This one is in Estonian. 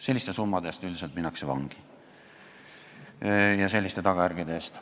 Selliste summade ja selliste tagajärgede eest minnakse üldiselt vangi.